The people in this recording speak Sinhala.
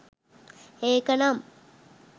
ඒක නම්